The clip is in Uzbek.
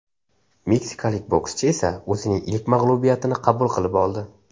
Meksikalik bokschi esa o‘zining ilk mag‘lubiyatini qabul qilib oldi.